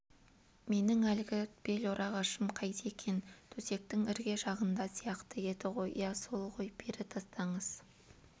менің әлгі бел орағышым қайда екен төсектің ірге жағында сияқты еді ғой иә сол ғой бері тастаңыз